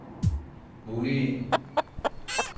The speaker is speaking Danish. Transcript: muligheden